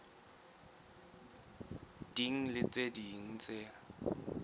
ding le tse ding tse